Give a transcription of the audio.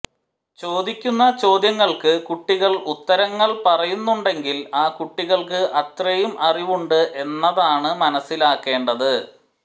ചോദിക്കുന്ന ചോദ്യങ്ങൾക്ക് കുട്ടികൾ ഉത്തരങ്ങൾ പറയുന്നുണ്ടെങ്കിൽ ആ കുട്ടികൾക്ക് അത്രയും അറിവുണ്ട് എന്നതാണ് മനസിലാക്കേണ്ടത്